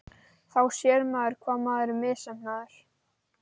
Þá sér maður hvað maður er misheppnaður.